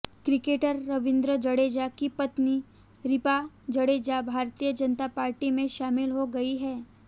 cricketer Ravindra Jadeja की पत्नी Rivaba Jadeja Bharatiya Janata Party में शामिल हो गई हैं